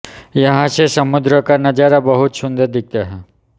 यहां से समुद्र का नजारा बहुत सुंदर दिखता है